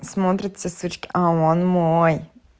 смотрят все сучки а он мой